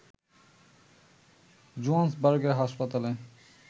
জোহান্সবার্গের হাসপাতালে